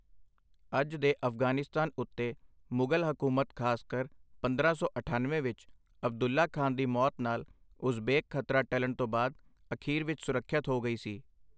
ਅੱਜ ਦੇ ਅਫ਼ਗ਼ਾਨਿਸਤਾਨ ਉੱਤੇ ਮੁਗ਼ਲ ਹਕੂਮਤ ਖ਼ਾਸਕਰ ਪੰਦਰਾਂ ਸੌ ਅਠੱਨਵੇਂ ਵਿੱਚ ਅਬਦੁੱਲਾ ਖ਼ਾਨ ਦੀ ਮੌਤ ਨਾਲ ਉਜ਼ਬੇਕ ਖ਼ਤਰਾ ਟਲਣ ਤੋਂ ਬਾਅਦ ਅਖੀਰ ਵਿੱਚ ਸੁਰੱਖਿਅਤ ਹੋ ਗਈ ਸੀ।